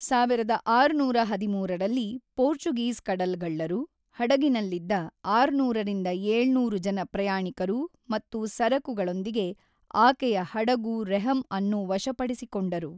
ಸಾವಿರದ ಆರುನೂರ ಹದಿಮೂರು ರಲ್ಲಿ ಪೋರ್ಚುಗೀಸ್ ಕಡಲ್ಗಳ್ಳರು, ಹಡಗಿನಲ್ಲಿದ್ದ ಆರುನೂರು-ಏಳುನೂರು ಜನ ಪ್ರಯಾಣಿಕರು ಮತ್ತು ಸರಕುಗಳೊಂದಿಗೆ, ಆಕೆಯ ಹಡಗು ರೆಹಮ್ ಅನ್ನು ವಶಪಡಿಸಿಕೊಂಡರು.